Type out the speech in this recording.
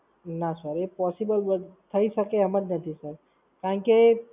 ના Sir એ Possible થઈ શકે એમ જ નથી Sir. કારણ કે